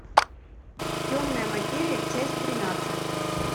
темная материя часть тринадцать